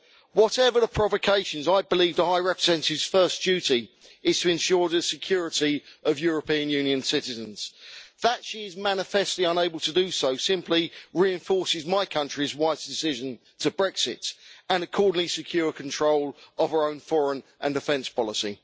Whatever the provocations, I believe the High Representative's first duty is to ensure the security of European Union citizens. That she is manifestly unable to do so simply reinforces my country's wise decision to Brexit and accordingly secure control of our own foreign and defence policy.